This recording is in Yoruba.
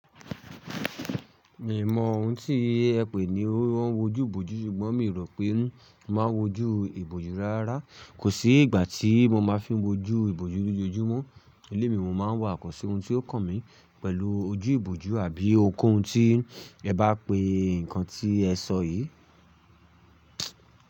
Mi mọ oun tí ẹ pè ní wọn wo ojú ìbòjú ṣùgbọ́n mi rò pé n máa ń wojú ìbòjú rárá. Kò sí ìgbà tí mo máa fi ń wojú ìbòjú lójojúmọ́. Ilé mi mo máa ń wà kọ̀sẹ́ ohun tí ó kàn mí pẹ̀lú ojú ìbòjú àbí ohun ko hùn tí ẹ bá pe nǹkan tí ẹ sọ yìí.